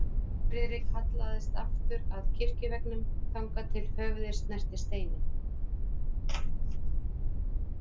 Friðrik hallaðist aftur að kirkjuveggnum, þangað til höfuðið snerti steininn.